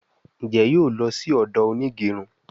Njé yóò ló sì odo Onigerun?